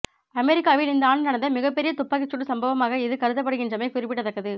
அமெரிக்காவில் இந்த ஆண்டு நடந்த மிகப்பெரிய துப்பாக்கிச்சூடு சம்பவமாக இது கருதப்படுகின்றமை குறிப்பிடத்தக்கது